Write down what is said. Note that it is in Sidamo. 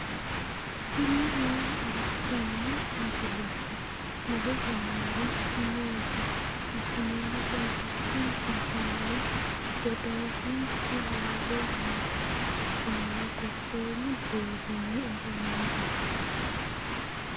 tini maa xawissanno misileeti ? mulese noori maati ? hiissinannite ise ? tini kultannori dodaasinchu hayiile yinanni kunino gobboomu deerrinni afaminoho.